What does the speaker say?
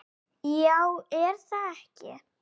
Já er það ekki?